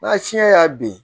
N'a fiɲɛ y'a bin